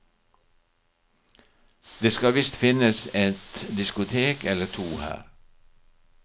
Det skal visst finnes et diskotek eller to her.